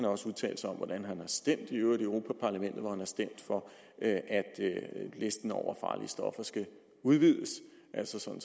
også udtalt sig om hvordan han har stemt i europa parlamentet hvor han har stemt for at listen over farlige stoffer skal udvides altså sådan